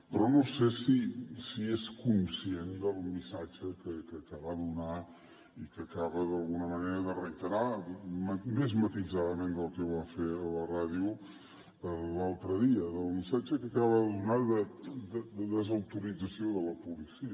però no sé si és conscient del missatge que va donar i que acaba d’alguna manera de reiterar més matisadament del que va fer a la ràdio l’altre dia del missatge que acaba de donar de desautorització de la policia